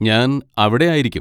ഞാൻ അവിടെ ആയിരിക്കും.